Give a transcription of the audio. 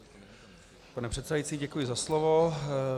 Pane předsedající, děkuji za slovo.